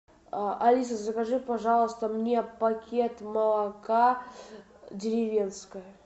алиса закажи пожалуйста мне пакет молока деревенское